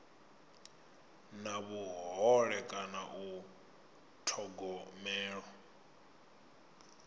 na vhuhole kana u thogomelwa